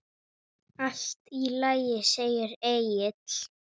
Allt í lagi, segir Egill.